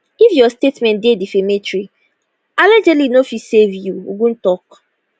if your statement dey defamatory allegedly no fit save you ogun tok